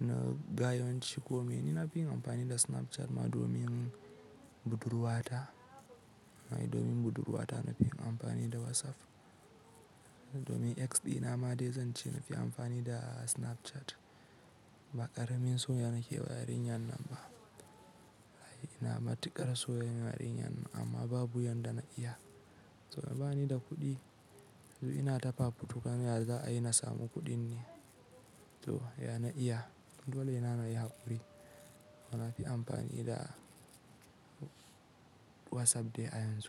na, ga yawanci ko mene na fi yin amfani da Snapchat ma domin budurwata. Hai, domin budurwata na fi yin amfani da WhatsApp. Domin ex ɗina ma dai zan ce na fi amfani da Snapchat. Ma ƙaramin so nake wa yarinyan nan ba. Ai, ina matuƙar son yarinyan nan amma babu yanda na iya. To bani da kuɗi. To ina ta fafutuka ya za a yi na samu kuɗin ne. To, ya na iya. Dole na na yi haƙuri. To na fi amfani da WhatsApp dai a yanzu.